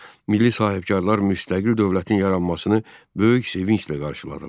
Milli sahibkarlar müstəqil dövlətin yaranmasını böyük sevinclə qarşıladılar.